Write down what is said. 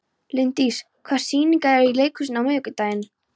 Líndís, hvaða sýningar eru í leikhúsinu á miðvikudaginn?